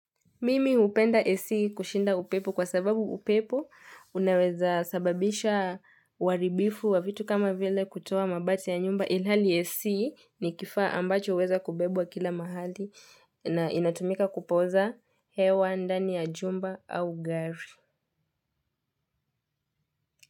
Mimi hupenda AC kushinda upepo kwa sababu upepo unawezasababisha uharibifu wa vitu kama vile kutoa mabati ya nyumba ilhali AC ni kifaa ambacho huweza kubebwa kila mahali na inatumika kupoza hewa ndani ya jumba au gari.